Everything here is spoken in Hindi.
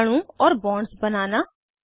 अणु और बॉन्ड्स बनाना